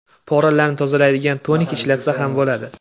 Poralarni tozalaydigan tonik ishlatsa ham bo‘ladi.